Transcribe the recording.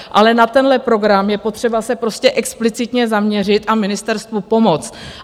Ale na tenhle program je potřeba se prostě explicitně zaměřit a ministerstvu pomoci.